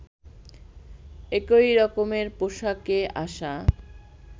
একই রকমের পোশাকে আসা